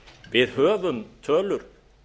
við höfum tölur